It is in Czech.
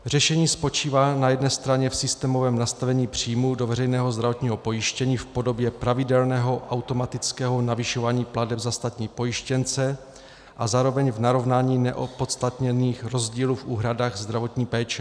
Řešení spočívá na jedné straně v systémovém nastavení příjmů do veřejného zdravotního pojištění v podobě pravidelného automatického navyšování plateb za státní pojištěnce a zároveň v narovnání neopodstatněných rozdílů v úhradách zdravotní péče.